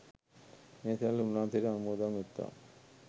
ඒ සියල්ල උන්වහන්සේට අනුමෝදන් වෙත්වා.